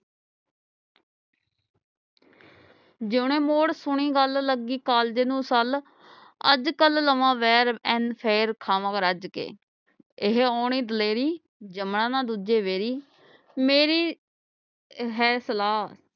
ਜਯੋਨੇ ਮੋੜ ਸੁਣੀ ਗੱਲ ਲਗੀ ਕਾਲਜੇ ਨੂੰ ਸਲ ਅਜਕਲ ਲਵਾਂ ਬੇਰ ਨ ਫੇਰ ਖਾਵਾਂ ਰੱਜ ਕੇ ਇਹ ਆਉਣੀ ਦਲੇਰੀ ਜਮਨਾ ਨਾ ਦੂਜੇ ਵੈਰੀ ਮੇਰੀ ਹੈ ਸਲਾਹ